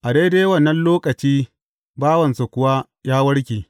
A daidai wannan lokaci bawansa kuwa ya warke.